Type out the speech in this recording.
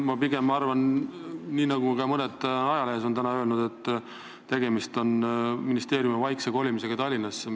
Ma pigem arvan nii, nagu on mõned öelnud ka tänases ajalehes, et tegemist on ministeeriumi vaikse Tallinnasse kolimisega.